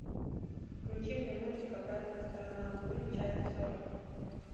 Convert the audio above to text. включи мне мультик обратная сторона луны часть сорок